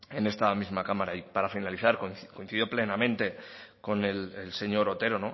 en esta misma cámara y para finalizar coincido plenamente con el señor otero